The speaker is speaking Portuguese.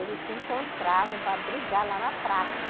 Eles se encontravam para brigar lá na praça.